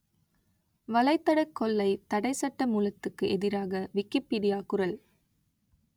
வலைத்தடக் கொள்ளைத் தடை சட்டமூலத்துக்கு எதிராக விக்கிப்பீடியா குரல்